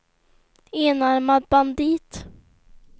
enarmad bandit